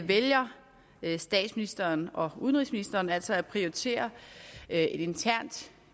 vælger statsministeren og udenrigsministeren altså at prioritere et internt